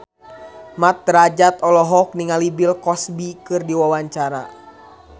Mat Drajat olohok ningali Bill Cosby keur diwawancara